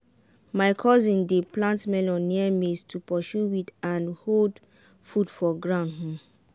my cousin dey plant melon near maize to pursue weed and hold food for ground. um